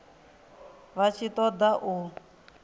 vha tshi ṱo ḓa u